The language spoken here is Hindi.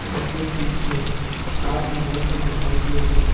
इनके पीछे सात मैट दिखाई दे रहे हैं।